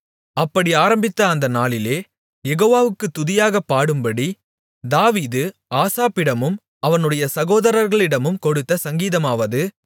அப்படி ஆரம்பித்த அந்த நாளிலே யெகோவாவுக்குத் துதியாகப் பாடும்படி தாவீது ஆசாப்பிடமும் அவனுடைய சகோதரர்களிடமும் கொடுத்த சங்கீதமாவது